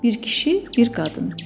Bir kişi, bir qadın.